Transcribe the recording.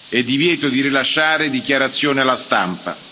e divieto di rilasciare dichiarazioni alla stampa.